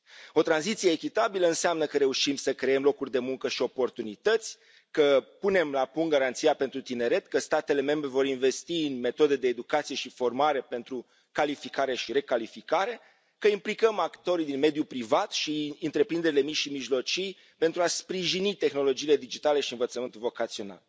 O tranziție echitabilă înseamnă că reușim să creăm locuri de muncă și oportunități, că punem la punct Garanția pentru tineret, că statele membre vor investi în metode de educație și formare pentru calificare și recalificare, că implicăm actorii din mediul privat și întreprinderile mici și mijlocii, pentru a sprijini tehnologiile digitale și învățământul vocațional.